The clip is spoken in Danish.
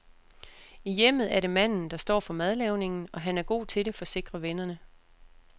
I hjemmet er det manden, der står for madlavningen, og han er god til det, forsikrer vennerne.